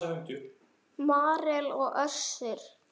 Marel og Össur.